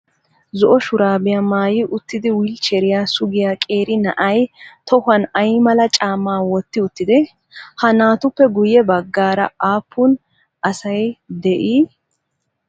Zo"o shuraabiyaa maayi uttidi wilcheriyaa sugiyaa qeeri na'ayi tohuwan ayi mala caammaa wotti uttidee? Ha naatuppe guyye baggaara aappun asayi de'ii?